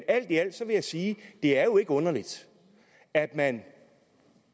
alt i alt vil jeg sige at det er underligt at man